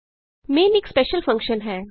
main ਇਕ special function ਹੈ